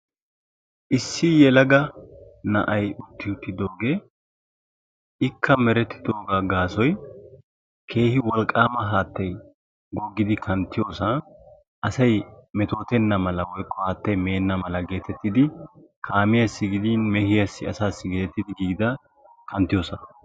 Issi yelaga na'ay utti uttidooge; ikka merettidoogaa gaasoy keehi wolqaama haattay goggidi kanttiyoosan asay metootenna mala woykko haattay meenna mala geetettidi kamiyaassi gidin mehiyaassi asaassi geetettidi giigida kanttiyoosa.